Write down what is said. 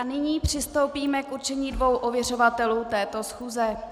A nyní přistoupíme k určení dvou ověřovatelů této schůze.